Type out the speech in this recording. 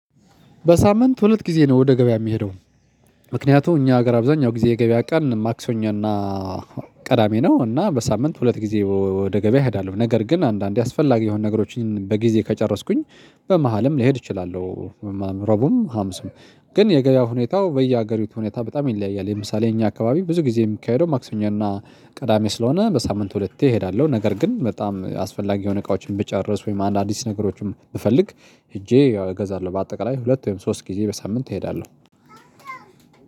በሳምንት ሁለት ጊዜ ነው ወደ ገበያ የሚሄደው። ምክንያቱም እኛ ሀገር አብዛኛው ጊዜ የገበያ ቀን ማክሰኞ እና ቅዳሜ ነው። እና በሳምንት ሁለት ጊዜ ወደ ገበያ እሄዳለሁ። ነገር ግን አንዳንዴ አስፈላጊ የሆኑ ነገሮችን በጊዜ ከጨረስኩኝ በመሃልም ሊሄድ ይችላል። ረቡም ሀሙስም ግን የገበያው ሁኔታው በየሀገሪቱ ሁኔታ በጣም ይለያያል። የምሳሌ እኛ አካባቢ ብዙ ጊዜ የሚካሄደው ማክሰኞ እና ቅዳሜ ስለሆነ በሳምንት ሁለቴ እሄዳለሁ። ነገር ግን በጣም አስፈላጊ የሆነ እቃዎችን ብጨረስ ወይም አንድ አዲስ ነገሮችን ብፈልግ ሄጄ ያው እገዛለሁ። በአጠቃላይ ሁለት ወይም ሶስት ጊዜ በሳምንት እሄዳለሁ።